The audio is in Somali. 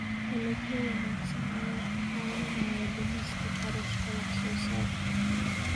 Dalagyo wanaagsan ayaa kaa caawinaya dhimista kharashka wax-soo-saarka.